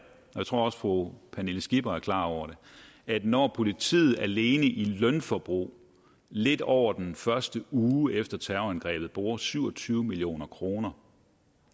jeg tror også fru pernille skipper er klar over det at når politiet alene i lønforbrug lidt over den første uge efter terrorangrebet bruger syv og tyve million kroner